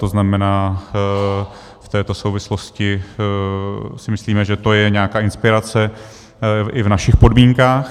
To znamená, v této souvislosti si myslíme, že to je nějaká inspirace i v našich podmínkách.